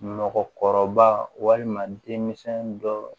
Mɔgɔkɔrɔba walima denmisɛn dɔ